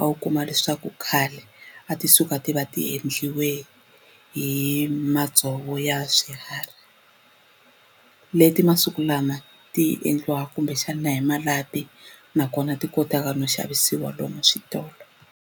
a wu kuma leswaku khale a ti suka ti va ti endliwe hi madzovo ya swiharhi leti masiku lama ti endliwa kumbexana hi malapi nakona ti kotaka no xavisiwa lomu switolo.